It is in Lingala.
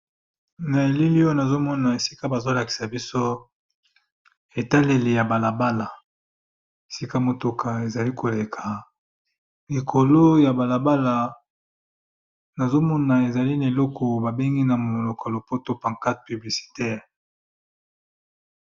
Naelili oyo nazomona bazolakisa biso etaleli ya balabala esika mituka ezali koleka likolo ya balabala namoni paquarte publiciteur